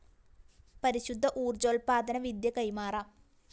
പരിശുദ്ധ ഊര്‍ജ്ജോല്‍പ്പാദന വിദ്യ കൈമാറാം